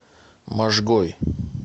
можгой